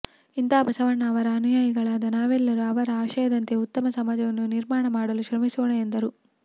ಇಂಥ ಬಸವಣ್ಣ ಅವರ ಅನುಯಾಯಿಗಳಾದ ನಾವೆಲ್ಲರೂ ಅವರ ಆಶಯದಂತೆ ಉತ್ತಮ ಸಮಾಜವನ್ನು ನಿರ್ಮಾಣ ಮಾಡಲು ಶ್ರಮಿಸೋಣ ಎಂದರು